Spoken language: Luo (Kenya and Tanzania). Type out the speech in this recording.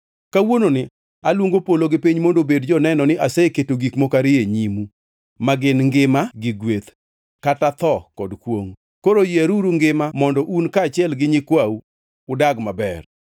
Kawuononi aluongo polo gi piny mondo obed joneno ni aseketo gik moko ariyo e nyimu ma gin ngima gi gweth, kata tho kod kwongʼ. Koro yieruru ngima mondo un kaachiel gi nyikwau udag maber